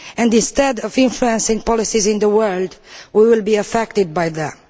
Instead of influencing policies in the world, we will be affected by them.